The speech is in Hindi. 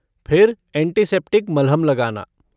फिर एंटीसेप्टिक मलहम लगाना।